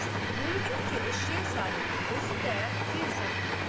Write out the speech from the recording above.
Görükür ki, eşşək sahibi özü də bir zad duydu.